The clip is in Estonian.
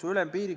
Aitäh!